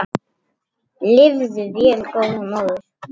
Lifðu vel góða móðir.